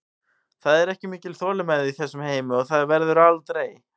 Það er ekki mikil þolinmæði í þessum heimi og það verður aldrei.